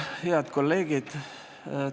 Head kolleegid!